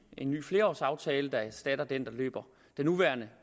en ny flerårsaftale der erstatter den nuværende